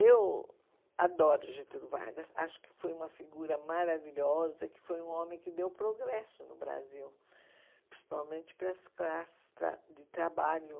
Eu adoro Getúlio Vargas, acho que foi uma figura maravilhosa, que foi um homem que deu progresso no Brasil, principalmente para as classes tra de trabalho.